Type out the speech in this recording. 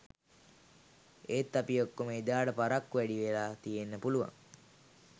එත් අපි ඔක්කොම එදාට පරක්කු වැඩි වෙලා තියෙන්නේ පුළුවන්